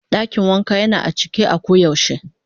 Dakin Waka Yana a cike a koyaushe.